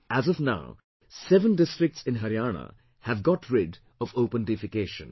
As of now, seven districts in Haryana have got rid of open defecation